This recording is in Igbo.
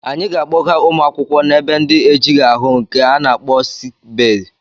Anyị ga-akpọga ụmụ akwụkwọ na-ebe ndị ejighị ahụ nke a na-akpọ siki bee.